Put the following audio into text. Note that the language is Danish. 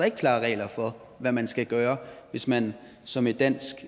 ikke klare regler for hvad man skal gøre hvis man som et dansk